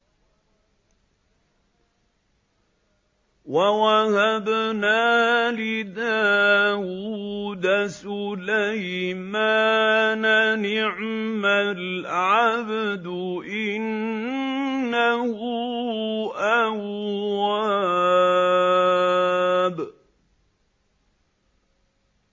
وَوَهَبْنَا لِدَاوُودَ سُلَيْمَانَ ۚ نِعْمَ الْعَبْدُ ۖ إِنَّهُ أَوَّابٌ